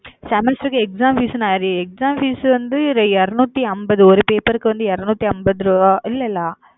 semester க்கு exam fees exam fees வந்து இருநூத்தி அம்பது ஒரு பேப்பருக்கு வந்து இருநூத்தி அம்பது ரூபா இல்லல்ல.